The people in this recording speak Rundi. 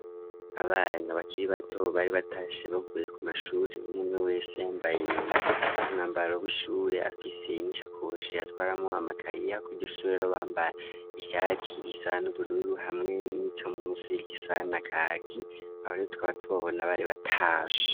Abana bakiri bato bari batashe bavuye ku mashuri mumwe wese yambaye umwambaro w'ishuri afise n'ishakoshi atwaramo amakaye kwishure bambara ishati risa n'ubururu hamwe n'ico mu munsi gisa na kaki abario twaba tubabona bari bataje.